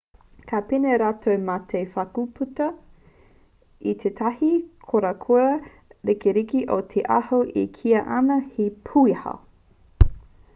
ka pēnei rātou mā te whakputa i tētahi korakora ririki o te aho e kīia ana he pūaho